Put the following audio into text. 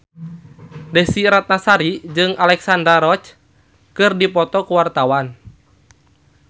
Desy Ratnasari jeung Alexandra Roach keur dipoto ku wartawan